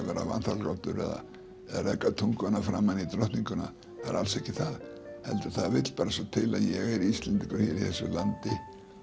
vera vanþakklátur eða reka tunguna framan í drottninguna það er alls ekki það heldur það vill bara svo til að ég er Íslendingur hérna í þessu landi